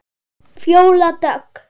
Fjóla Dögg.